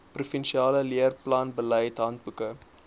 provinsiale leerplanbeleid handboeke